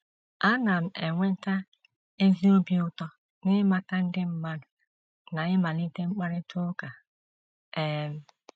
Ana m enweta ezi obi ụtọ n’ịmata ndị mmadụ na ịmalite mkparịta ụka. um